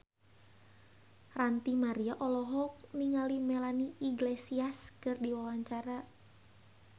Ranty Maria olohok ningali Melanie Iglesias keur diwawancara